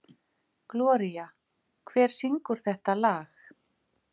Gloría, hver syngur þetta lag?